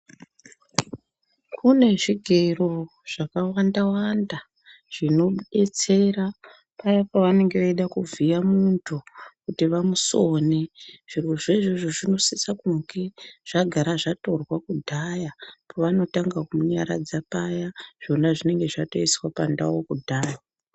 Kune zvigero zvakawanda wanda zvinodetsera paya pavanenge veida kuvhiya mundu kuti vamusone zvirozvo izvozvo zvinosisa kunge zvakagara zvatorwa kudhaya pavanotanga kumunyaradza paya zvona zvinenge zvatoiswa pandau kudhaya.